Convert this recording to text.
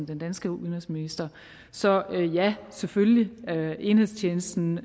den danske udenrigsminister så ja selvfølgelig enhedstjenesten